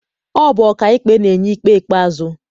Ọ bụ ọkaikpe na-enye ikpe ikpeazụ.